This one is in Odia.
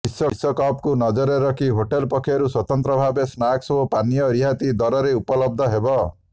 ବିଶ୍ବକପ୍କୁ ନଜରରେ ରଖି ହୋଟେଲ ପକ୍ଷରୁ ସ୍ବତନ୍ତ୍ର ଭାବେ ସ୍ନାକ୍ସ ଓ ପାନୀୟ ରିହାତି ଦରରେ ଉପଲବ୍ଧ ହେବ